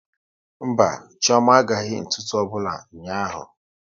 Mba, Chioma agaghị ntụtu ọbụla ụnyaahụ